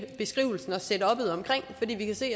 beskrivelsen og setuppet omkring fordi vi kan se